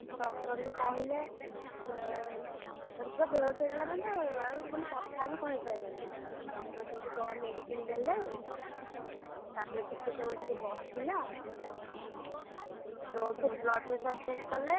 Doctor ବି କହିଲେ, ଏଁ ତ ପୁରା ବେହୋସ ହେଇଥିଲା ଆଉ ମାନେ ଆଉ କଥା ହିଁ କହିପାରିଲାଣି, doctor ସେଇଠୁ କଣ medicine ଦେଲେ, ତାପରେ ଟିକେ ସମୟ ସେଠି ବସିଲା, blood pressure check କଲେ।